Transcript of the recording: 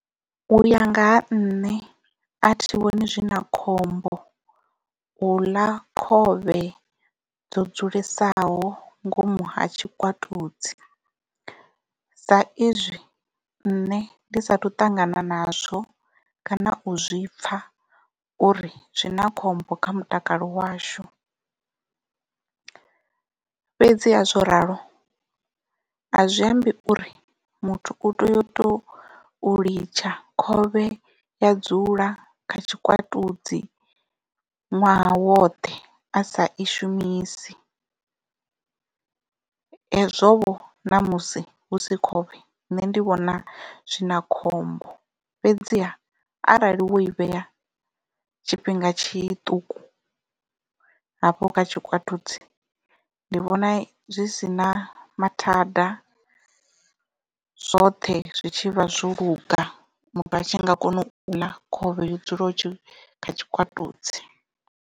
U ya nga ha nṋe a thi vhoni zwi na khombo u ḽa khovhe yo dzulesaho ngomu ha tshikwatudzi sa izwi nṋe ndi sathu ṱangana nazwo kana u zwipfa uri zwi na khombo kha mutakalo washu. Fhedziha zwo ralo a zwi ambi uri muthu u tea u tou litsha khovhe ya dzula kha tshikwatudzi ṅwaha woṱhe a sa i shumisi hezwo vho namusi hu si khovhe nṋe ndi vhona zwi na khombo fhedziha arali wo i vhea tshifhinga tshiṱuku hafho kha tshikwatudzi ndi vhona zwi si na mathada zwoṱhe zwi tshi vha zwo luga muthu a tshi nga kona u ḽa khovhe yo dzulaho kha tshikwatudzi.